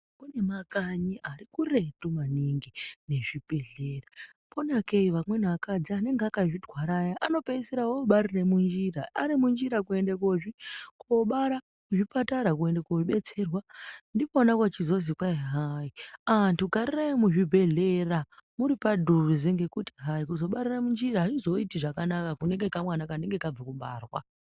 Kune makanyi ari kuretu maningi nezvibhehlera ponakei amweni akadzi anenge akazvitwara aya anopeisira obarire munjira ari munjira kuende kobara kuzvipatara kuende kobetserwa ndikona kuchizozwi kwaihai antu garirai muzvibhehlera murupadhuze ngekuti hai kuzobarira munjira azvizoti zvakanaka kunekamwana kanenge kabva kubarwa.